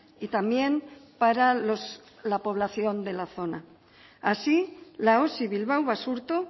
y también para la población de la zona así la osi bilbao basurto